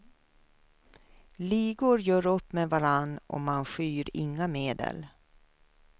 Ligor gör upp med varandra och man skyr inga medel.